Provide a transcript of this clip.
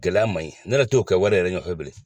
Gɛlɛya man ɲi .Ne yɛrɛ t'o kɛ wari yɛrɛ nɔfɛ bilen.